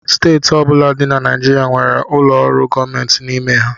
Steeti ọ bụla dị na Naịjirịa nwere ụlọ ọrụ gọọmentị n'ime ha